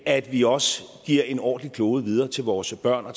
at vi også giver en ordentlig klode videre til vores børn er